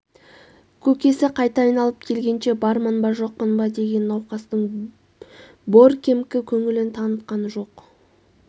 көкесі қайта айналып келгенше бармын ба жоқпын ба деген науқастың боркемкі көңілін танытқан жоқ